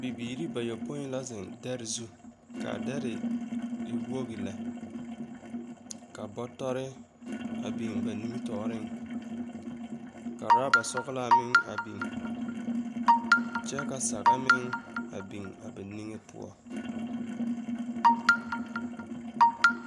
Bibiiri bayopoi la zeŋ dɛre zu, ka dɛre e wogi lɛ, ka bɔtɔre a biŋ ba nimitɔɔreŋ, ka woraaba sɔglaa meŋ a biŋ kyɛ ka saga meŋ a biŋ ba niŋe poɔ. 13385